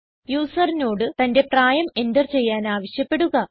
യൂസറിനോട് തന്റെ പ്രായം എന്റർ ചെയ്യാൻ ആവശ്യപ്പെടുക